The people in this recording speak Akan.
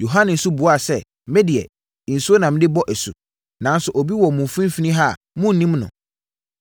Yohane nso buaa sɛ, “Me deɛ, nsuo na mede bɔ asu, nanso obi wɔ mo mfimfini ha a monnim no,